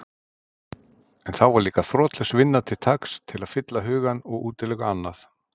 En þá var líka þrotlaus vinna til taks til að fylla hugann og útiloka annað.